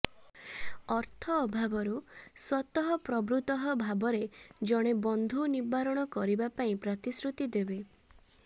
ଅର୍ଥ ଅଭାବରୁ ସ୍ୱତଃପ୍ରବୃତଃ ଭାବରେ ଜଣେ ବନ୍ଧୁ ନିବାରଣ କରିବା ପାଇଁ ପ୍ରତିଶ୍ରୁତି ଦେବେ